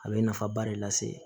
A bɛ nafaba de lase